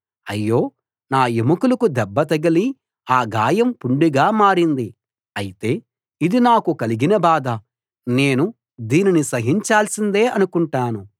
అయ్యో నా ఎముకలకు దెబ్బ తగిలి ఆ గాయం పుండుగా మారింది అయితే ఇది నాకు కలిగిన బాధ నేను దీనిని సహించాల్సిందే అనుకుంటాను